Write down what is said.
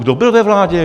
Kdo byl ve vládě?